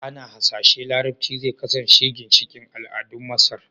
Ana hasashen Larabci zai kasance ginshiƙin al'adun Masar